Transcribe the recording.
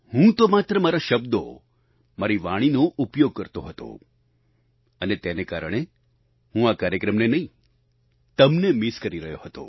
હું તો માત્ર મારા શબ્દો મારી વાણીનો ઉપયોગ કરતો હતો અને તેને કારણે હું આ કાર્યક્રમને નહીં તમને મિસ કરી રહ્યો હતો